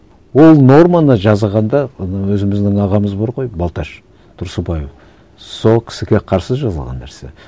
ол норманы жазғанда анау өзіміздің ағамыз бар ғой балташ тұрсынбайұлы сол кісіге қарсы жазылған нәрсе